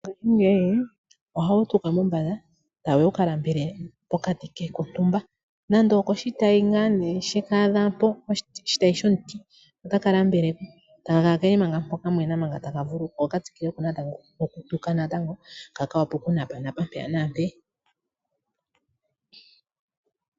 Ngaashingeyi ohawu tuka mombanda e tawu ya wu ka nambele pokati kontumba nenge okoshitayi ke shi adha mpoka otaka nambele e taka kala ke li manga mpoka taka vululukwa ko ka tsikile natango nokutuka ka ka wape okunapanapa mpaka naampeyaka.